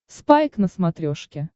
спайк на смотрешке